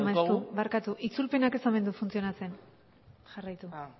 maeztu barkatu itzulpenak ez omen du funtzionatzen jarraitu beno ba